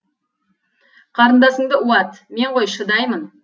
қарындасыңды уат мен ғой шыдаймын